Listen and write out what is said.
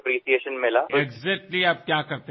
প্ৰতিটো স্থানৰ পৰা অভূতপূৰ্ব সঁহাৰি লাভ কৰিলো